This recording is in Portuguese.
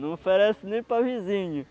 Não oferece nem para vizinho.